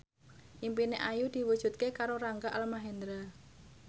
impine Ayu diwujudke karo Rangga Almahendra